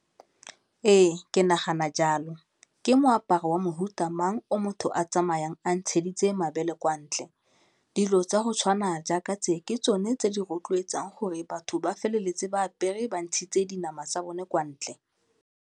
Ee, ke nagana jalo, ke moaparo wa mofuta mang o motho a tsamayang a ntsheditse mabele kwa ntle? Dilo tsa go tshwana jaaka tse ke tsone tse di rotloetsang gore batho ba feleletse ba apere ba ntshitse dinama tsa bone kwa ntle.